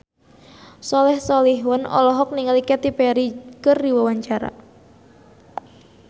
Soleh Solihun olohok ningali Katy Perry keur diwawancara